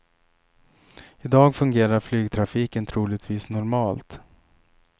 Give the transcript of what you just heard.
I dag fungerar flygtrafiken troligtvis normalt.